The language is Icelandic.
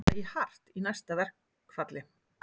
Ætla í hart í næsta verkfalli